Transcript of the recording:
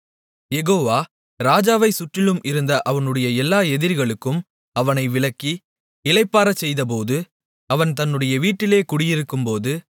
யெகோவா ராஜாவைச் சுற்றிலும் இருந்த அவனுடைய எல்லா எதிரிகளுக்கும் அவனை விலக்கி இளைப்பாறச் செய்தபோது அவன் தன்னுடைய வீட்டிலே குடியிருக்கும்போது